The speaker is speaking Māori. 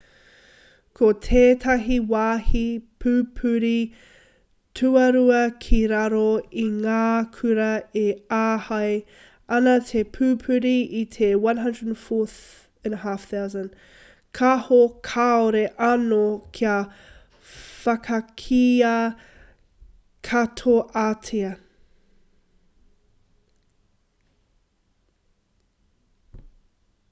ko tētahi wāhi pupuri tuarua ki raro i ngā kura e āhei ana te pupuri i te 104,500 kāho kāore anō kia whakakīia katoatia